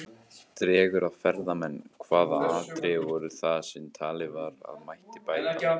Dregur að ferðamenn Hvaða atriði voru það sem talið var að mætti bæta?